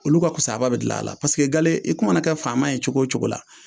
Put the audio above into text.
Olu ka kusaba bɛ gil'a la gale i kun mana kɛ faama ye cogo o cogo la.